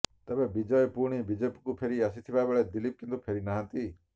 ତେବେ ବିଜୟ ପୁଣି ବିଜେପିକୁ ଫେରି ଆସିଥିବାବେଳେ ଦିଲ୍ଲୀପ କିନ୍ତୁ ଫେରିନାହାନ୍ତି